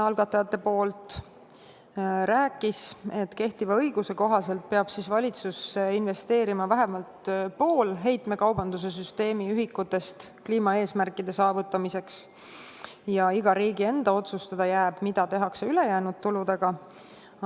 Ta rääkis, et kehtiva õiguse kohaselt peab valitsus investeerima vähemalt pool heitmekaubanduse süsteemi ühikutest kliimaeesmärkide saavutamiseks ja iga riigi enda otsustada jääb, mida tehakse ülejäänud tuludega.